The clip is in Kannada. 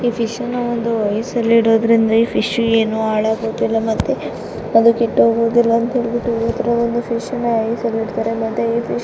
ಈ ಫಿಶ್ನ ಒಂದು ಐಸ್ ನಲ್ಲಿ ಇಡುವುದರಿಂದ್ ಈ ಫಿಶ್ ಏನು ಹಾಳಾಗುವುದಿಲ್ಲ ಮತ್ತೆ ಅದು ಕೆಟ್ಟು ಹೋಗುವುದಿಲ್ಲ ಎಂದು ಅದನ್ನು ಐಸ್ ನಲ್ಲಿ ಇರುತ್ತಾರೆ.